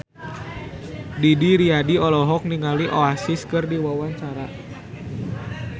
Didi Riyadi olohok ningali Oasis keur diwawancara